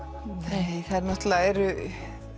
nei þær náttúrulega eru